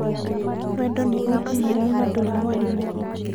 wendo ni ũtumumu na ndũri mwarĩmũ